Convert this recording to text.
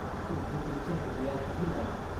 तुम्ही तुमच्या हृदयातही लावा.